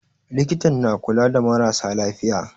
Likitan na kula da marasa lafiya.